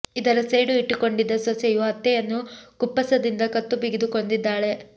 ಇದರ ಸೇಡು ಇಟ್ಟುಕೊಂಡಿದ್ದ ಸೊಸೆಯು ಅತ್ತೆಯನ್ನು ಕುಪ್ಪಸದಿಂದ ಕತ್ತು ಬಿಗಿದು ಕೊಂದಿದ್ದಾಳೆ